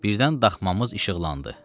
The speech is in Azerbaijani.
Birdən daxmamız işıqlandı.